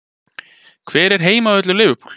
Hver er heimavöllur Liverpool?